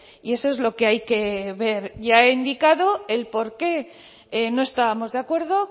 y eso es lo que hay que ver ya he indicado por qué no estábamos de acuerdo